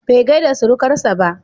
Bai gaida surukarsa ba.